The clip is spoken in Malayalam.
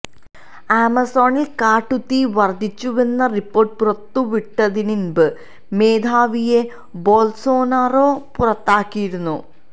ആമസോണിൽ കാട്ടുതീ വർധിച്ചുവെന്ന റിപ്പോർട്ട് പുറത്തുവിട്ടതിന് ഇൻപെ മേധാവിയെ ബൊൽസൊനാരോ പുറത്താക്കിയിരുന്നു